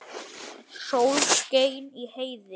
Sól skein í heiði.